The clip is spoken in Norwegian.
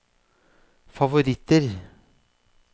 favoritter